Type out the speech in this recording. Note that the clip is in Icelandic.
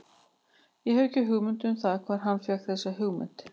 Ég hef ekki hugmynd um það hvar hann fékk þessa hugmynd.